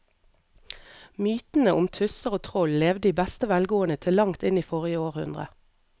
Mytene om tusser og troll levde i beste velgående til langt inn i forrige århundre.